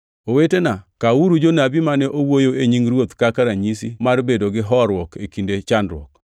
Owetena, kawuru jonabi mane owuoyo e nying Ruoth kaka ranyisi mar bedo gi horuok e kinde chandruok.